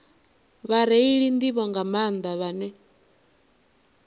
vhareili nḓivho nga maanḓa vhane